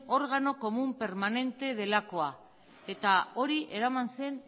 órgano común permanente delakoa eta hori eraman zen